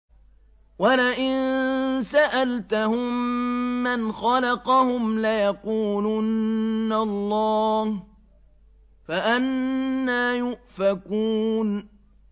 وَلَئِن سَأَلْتَهُم مَّنْ خَلَقَهُمْ لَيَقُولُنَّ اللَّهُ ۖ فَأَنَّىٰ يُؤْفَكُونَ